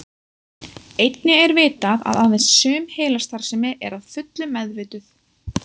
Einnig er vitað að aðeins sum heilastarfsemi er að fullu meðvituð.